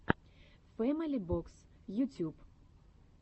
фэмили бокс ютюб